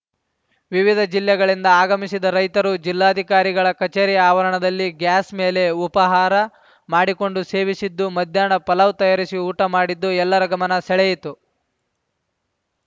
ವಿವಿಧ ಜಿಲ್ಲೆಗಳಿಂದ ಆಗಮಿಸಿದ ರೈತರು ಜಿಲ್ಲಾಧಿಕಾರಿಗಳ ಕಚೇರಿ ಆವರಣದಲ್ಲೇ ಗ್ಯಾಸ್‌ ಮೇಲೆ ಉಪಾಹಾರ ಮಾಡಿಕೊಂಡು ಸೇವಿಸಿದ್ದು ಮಧ್ಯಾಹ್ನ ಪಲಾವ್‌ ತಯಾರಿಸಿ ಊಟ ಮಾಡಿದ್ದು ಎಲ್ಲರ ಗಮನ ಸೆಳೆಯಿತು